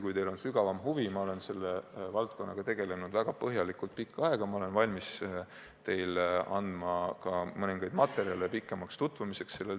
Kui teil on sügavam huvi asja vastu, siis ma olen selle valdkonnaga tegelenud väga põhjalikult pikka aega ja olen valmis teile andma mõningaid materjale korralikuks tutvumiseks.